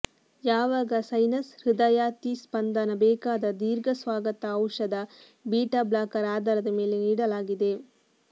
ಯಾವಾಗ ಸೈನಸ್ ಹೃದಯಾತಿಸ್ಪಂದನ ಬೇಕಾದ ದೀರ್ಘ ಸ್ವಾಗತ ಔಷಧ ಬೀಟ ಬ್ಲಾಕರ್ ಆಧಾರದ ಮೇಲೆ ನೀಡಲಾಗಿದೆ